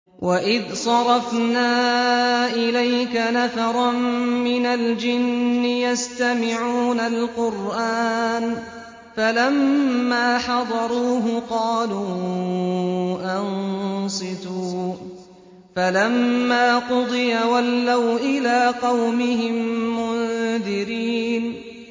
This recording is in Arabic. وَإِذْ صَرَفْنَا إِلَيْكَ نَفَرًا مِّنَ الْجِنِّ يَسْتَمِعُونَ الْقُرْآنَ فَلَمَّا حَضَرُوهُ قَالُوا أَنصِتُوا ۖ فَلَمَّا قُضِيَ وَلَّوْا إِلَىٰ قَوْمِهِم مُّنذِرِينَ